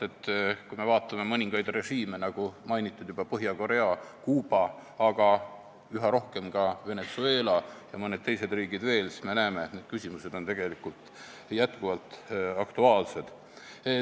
Kui me vaatame mõningaid režiime, nagu juba mainitud Põhja-Korea ja Kuuba, aga üha rohkem ka Venezuela ja mõned teised riigid veel, siis me näeme, et need küsimused on tegelikult jätkuvalt aktuaalsed.